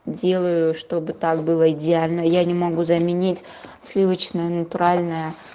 делаю чтобы так было идеально я не могу заменить сливочное натуральное